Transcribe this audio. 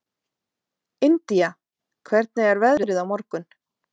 Indía, hvernig er veðrið á morgun?